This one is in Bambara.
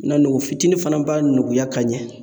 Na nugu fitinin fana b'a nuguya ka ɲɛ